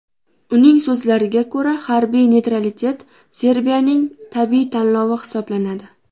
Uning so‘zlariga ko‘ra, harbiy neytralitet Serbiyaning tabiiy tanlovi hisoblanadi.